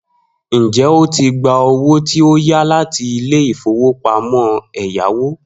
Njẹ o tí gbà owó tí o yá láti ilé ìfowópamọ́ ẹ̀yáwó